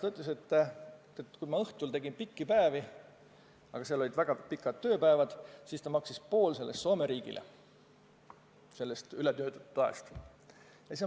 Ta ütles, et kui ta õhtul tegi pikki päevi – aga seal olid väga pikad tööpäevad –, siis ta maksis poole tasust, mis ta sai ületöötatud aja eest, Soome riigile.